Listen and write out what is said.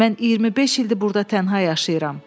Mən 25 ildir burda tənha yaşayıram.